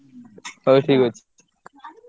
ହଉ ଠିକ୍ ଅଛି।